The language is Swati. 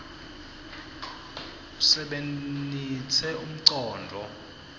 usebenitse umcondvo